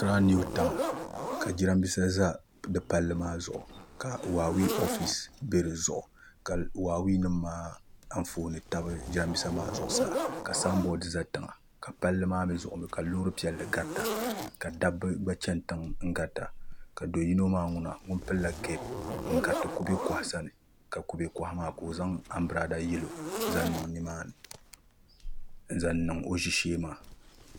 Akiraa niw taawn ka jiranbiisa ʒɛ di palli maa zuɣu ka huwaawee oofis ka huwaawee nim maa anfooni tabi jiranbiisa maa zuɣu ka sanbood ʒɛ tiŋa ka palli maa zuɣu mii ka loori piɛlli garita ka dabba gba chɛni tiŋa n gariti ni ka do yino maa mii ŋun pilla keep n gariti kubɛ koha sani ka kubɛ koha maa ka o zaŋ anbirɛla yɛlo n zaŋ niŋ o ʒishee maa